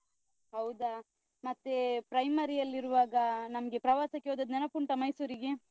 ಹೌದಾ ಮತ್ತೇ, primary ಅಲ್ಲಿರುವಾಗ ನಮ್ಗೆ ಪ್ರವಾಸಕ್ಕೆ ಹೋದದ್ದು ನೆನಪುಂಟಾ ಮೈಸೂರಿಗೆ?